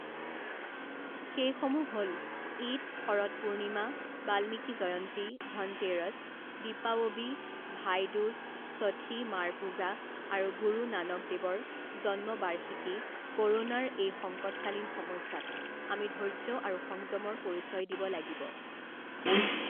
সেইসমূহ হ'ল ঈদ, শৰৎ পূৰ্ণিমা, বাল্মিকী জয়ন্তী, ধনতেৰচ, দিপাৱৱী, ভাই দুজ, ষঠী মাৰ পূজা আৰু গুৰু নানক দেৱৰ জন্মবাৰ্ষিকী ক’ৰোনাৰ এই সংকটকালীন সময়ছোৱাত আমি ধৈৰ্য আৰু সংযমৰ পৰিচয় দিব লাগিব।